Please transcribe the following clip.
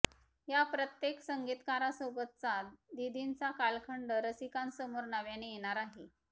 या प्रत्येक संगीतकारासोबतचा दीदींचा कालखंड रसिकांसमोर नव्याने येणार आहे